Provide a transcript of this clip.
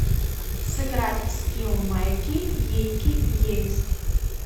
сыграть в скилл майки ейки ейск